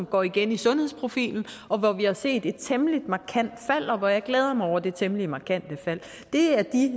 går igen i sundhedsprofilen hvor vi har set et temmelig markant fald og jeg glæder mig over det temmelig markante fald det er de